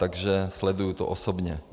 Takže sleduji to osobně.